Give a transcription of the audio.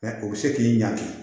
o bɛ se k'i ɲaki